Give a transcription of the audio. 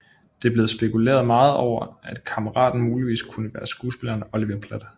Det er blevet spekuleret meget over at kammeraten muligvis kunne være skuespilleren Oliver Platt